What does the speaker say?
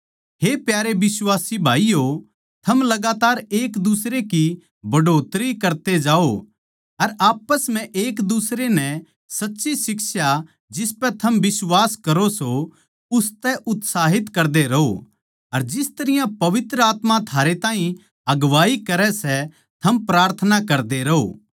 हे प्यारे बिश्वासी भाईयो थम लगातार एक दुसरे की बढ़ोतरी करते जाओ अर आप्पस म्ह एक दुसरे नै सच्ची शिक्षा जिसपै थम बिश्वास करो सों उसतै उत्साहित करदे रहों अर जिस तरियां पवित्र आत्मा थारे ताहीं अगुवाई करै सै थम प्रार्थना करदे रहों